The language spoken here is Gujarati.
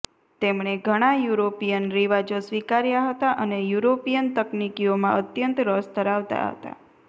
તેમણે ઘણા યુરોપીયન રિવાજો સ્વીકાર્યા હતા અને યુરોપીયન તકનીકીઓમાં અત્યંત રસ ધરાવતા હતા